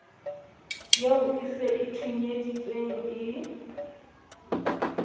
eo se e thonyeditsweng e